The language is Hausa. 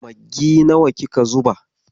Maggi nawa kika zuba?